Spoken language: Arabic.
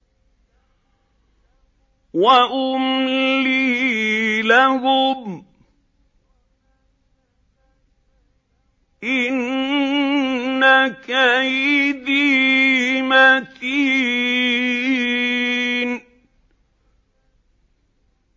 وَأُمْلِي لَهُمْ ۚ إِنَّ كَيْدِي مَتِينٌ